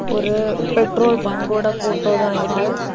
ஒரு பெட்ரோல் பங்க்கோட போட்டோ தான் இது.